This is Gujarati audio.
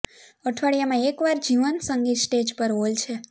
અઠવાડિયામાં એક વાર જીવંત સંગીત સ્ટેજ પર હોલ છે